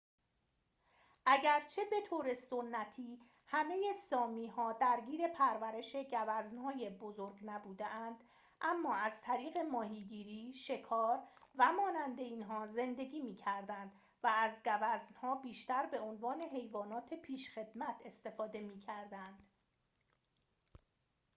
اگرچه به طور سنتی همه سامی‌ها درگیر پرورش گوزن‌های بزرگ نبوده‌اند اما از طریق ماهیگیری شکار و مانند اینها زندگی می کردند و از گوزنها بیشتر به عنوان حیوانات پیشخدمت استفاده می کردند